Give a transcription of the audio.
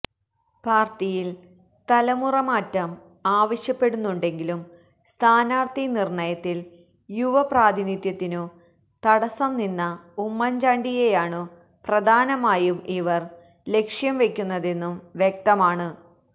പാര്ട്ടിയില് തലുമുറ മാറ്റം ആവശ്യപ്പെടുന്നുണ്ടെങ്കിലും സ്ഥാനാര്ഥി നിര്ണയത്തില് യുവ പ്രാതിനിധ്യത്തിനു തടസംനിന്ന ഉമ്മന്ചാണ്ടിയെയാണു പ്രധാനമായും ഇവര് ലക്ഷ്യം വെക്കുന്നതെന്നും വ്യക്തമാണ്